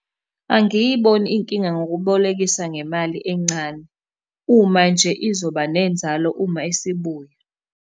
Angiyiboni inkinga ngokubolekisa ngemali encane, uma nje izoba nenzalo uma isibuya.